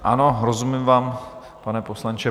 Ano, rozumím vám, pane poslanče.